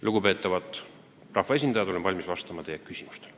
Lugupeetavad rahvaesindajad, olen valmis vastama teie küsimustele.